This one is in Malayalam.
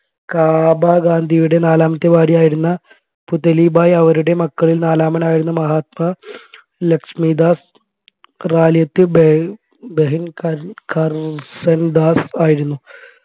കാബ ഗാന്ധിയുടെ നാലാമത്തെ ഭാര്യയായിരുന്ന പുതലിഭായ് അവരുടെ മക്കളിൽ നാലാമൻ ആയിരുന്ന മഹാത്മാ ലക്ഷിമിഡാസ് റാലിയത്ത് ബെ ബെഹൻ കർസൻദാസ് ആയിരുന്നു